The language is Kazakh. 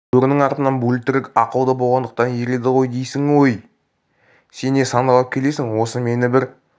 бөрінің артынан бөлтірік ақылды болғандықтан ереді дейсің ғой өй сен не сандалып келесің осы мені бір